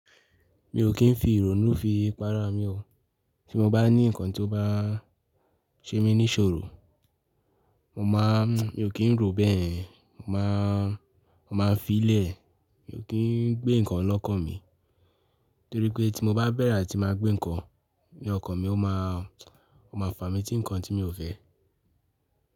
Mi ò kí ń fi ìró nú fi pàrà mi o. Tí mo bá ní nǹkan tí ó bá ṣe mí ní ṣòro, mo máa, mi ò kí ń ro bẹ́ẹ̀ yen. Mo máa, mo máa fi lẹ̀, mi ò kí ń gbé nǹkan lọ́kàn mi. Nítorí pé tí mo bá bẹ̀rẹ̀ atí máa gbé nǹkan ní ọkàn mi, ó máa, ó máa fà mí tí nǹkan tí mi ò fẹ́.